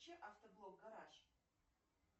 включи автоблог гараж